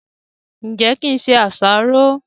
ǹjẹ́ kí n se àsáró?